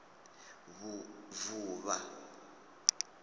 vuvha